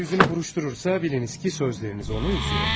Əgər üzünü qırışdırırsa, biliniz ki, sözləriniz onu üzür.